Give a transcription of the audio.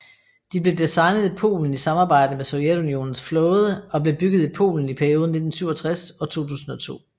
De blev designet i Polen i samarbejde med Sovjetunionens flåde og blev bygget i Polen i perioden 1967 og 2002